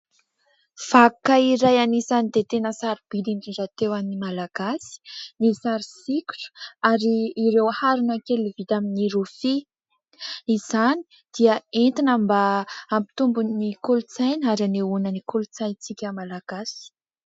Vakoka iray anisany dia tena sarobidy indrindra teo amin'ny malagasy ny sary sokitra, ary ireo harona kely vita amin'ny rofia. Izany dia entina mba hampitombo ny kolontsaina ary anehoana ny kolontsaintsika Malagasy.